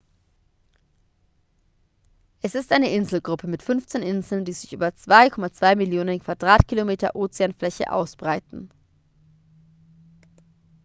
es ist eine inselgruppe mit 15 inseln die sich über 2,2 millionen quadratkilometer ozeanfläche ausbreiten